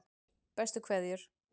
Bestu kveðjur